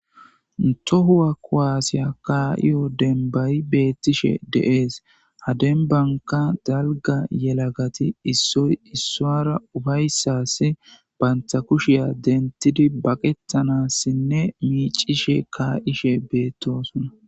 Ntohuwa kowaasiya kaa7iyo denbayi beettishe deees hadenbanka dalga yelagati issoy issoara ufayssassi bantha kushiya dentidi baqetanassinne miicishe kaa7ishe beettosona